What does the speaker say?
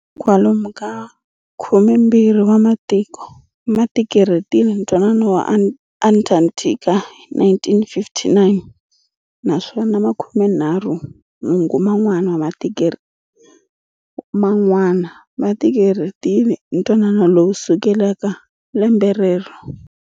Kwalomu ka khume mbirhi wa matiko, ma tikirhetile ntwanano wa Antakthika hi 1959, naswona makumenharhu nhungu man'wana ma tikirhetile ntwanano lowu kusukela lembe rero.